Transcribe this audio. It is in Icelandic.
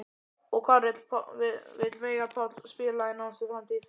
Og hvar vill Veigar Páll spila í nánustu framtíð?